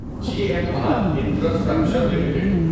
G M R infrastructure limited